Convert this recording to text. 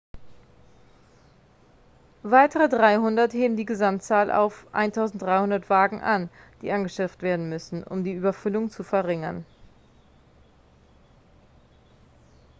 weitere 300 heben die gesamtzahl auf 1.300 wagen an die angeschafft werden müssen um die überfüllung zu verringern.x